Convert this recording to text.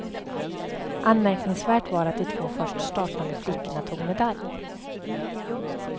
Anmärkningsvärt var att de två först startande flickorna tog medalj.